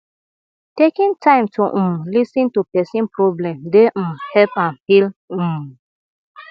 taking time to um lis ten to pesin problem dey um help am heal um